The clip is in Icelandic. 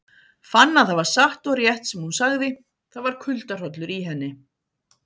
Fann að það var satt og rétt sem hún sagði, það var kuldahrollur í henni.